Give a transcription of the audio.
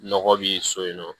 Nɔgɔ bi so yen nɔ